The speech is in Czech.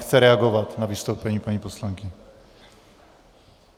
Chce reagovat na vystoupení paní poslankyně.